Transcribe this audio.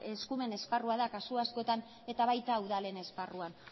eskumen esparrua da kasu askotan eta baita udalen esparruan